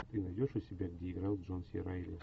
ты найдешь у себя где играл джон си райли